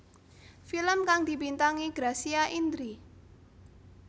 Film kang dibintangi Gracia Indri